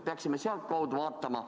Peaksime ehk sealtkaudu lähenema.